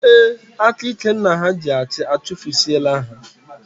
Ee, aka ike nna ha ji achị, achufusie la ha